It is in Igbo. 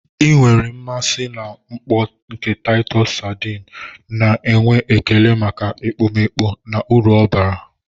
Ị nwere mmasị na mkpọ nke Taịtọs sardines, na-enwe ekele maka ekpomeekpo na uru bara uru ha bara.